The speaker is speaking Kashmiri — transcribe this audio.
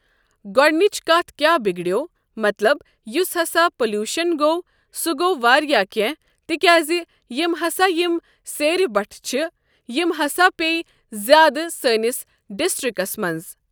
گۄٕٚڑنِچ کَتھ کیاہ بِگڑیو مطلب یُس ہسا پوٚلُوشن گوٚو سُہ گوٚو واریاہ کیٚنہہ تِکیازِ یِم ہسا یِم سیرِ بَٹھٕ چھِ یِم ہسا پیٚیہِ زیادٕ سٲنِس ڈسٹرکس منٛز۔